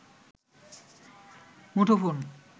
মুঠোফোন